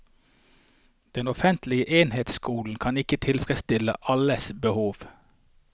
Den offentlige enhetsskolen kan ikke tilfredsstille alles behov.